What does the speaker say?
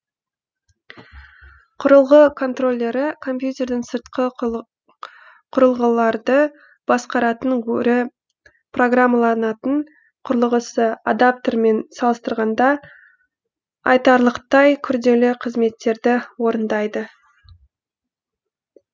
құрылғы контроллері компьютердің сыртқы құрылғыларды басқаратын өрі программаланатын құрылғысы адаптермен салыстырғанда айтарлықтай күрделі қызметтерді орындайды